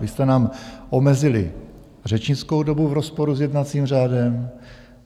Vy jste nám omezili řečnickou dobu v rozporu s jednacím řádem.